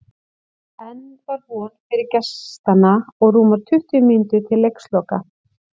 Enn var von fyrir gestanna og rúmar tuttugu mínútur til leiksloka.